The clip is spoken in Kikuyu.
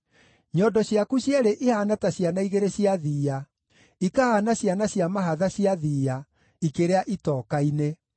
Nyondo ciaku cierĩ ihaana ta ciana igĩrĩ cia thiiya, ikahaana ciana cia mahatha cia thiiya ikĩrĩa itoka-inĩ.